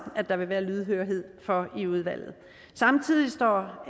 at der vil være lydhørhed for i udvalget samtidig står